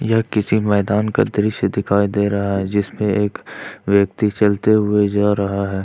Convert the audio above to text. यह किसी मैदान का दृश्य दिखाई दे रहा है जिसमें एक व्यक्ति चलते हुए जा रहा है।